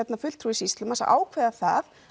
fulltrúi sýslumanns að ákveða það